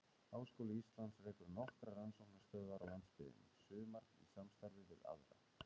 Háskóli Íslands rekur nokkrar rannsóknastöðvar á landsbyggðinni, sumar í samstarfi við aðra.